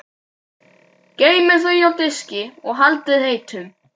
Geymið þau á diski og haldið heitum.